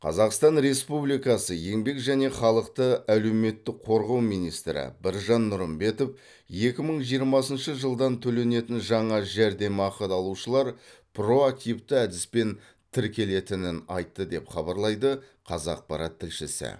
қазақстан республикасы еңбек және халықты әлеуметтік қорғау министрі біржан нұрымбетов екі мың жиырма екінші жылдан төленетін жаңа жәрдемақы алушылар проактивті әдіспен тіркелетінін айтты деп хабарлайды қазақпарат тілшісі